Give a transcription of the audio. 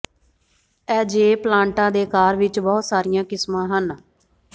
ਐਜੇਵ ਪਲਾਂਟਾਂ ਦੇ ਆਕਾਰ ਵਿਚ ਬਹੁਤ ਸਾਰੀਆਂ ਕਿਸਮਾਂ ਹਨ